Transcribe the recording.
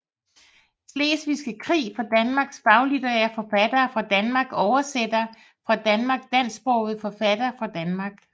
Slesvigske Krig fra Danmark Faglitterære forfattere fra Danmark Oversættere fra Danmark Dansksprogede forfattere fra Danmark